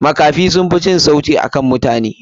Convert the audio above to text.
Makafi sunfi jin sauti akan mutane.